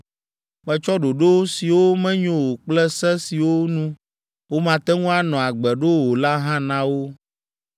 Metsɔ ɖoɖo siwo menyo o kple se siwo nu womate ŋu anɔ agbe ɖo o la hã na wo.